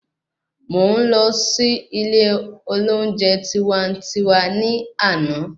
Mò ń lo sí ilè olóúnjẹ tiwantiwa ni ọ̀la